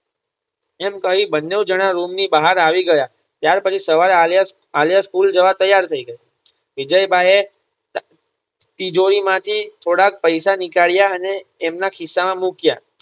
એમ કહી બંને જણા રૂમની બહાર આવી ગયા ત્યાર પછી સવારે આલિયા આલિયા સ્કૂલ જવા તૈયાર થઈ ગઈ. વિજયભાઇ એ તિજોરી માંથી થોડા પૈસા નીકળ્યા અને એમના ખિસ્સા માં મૂક્યા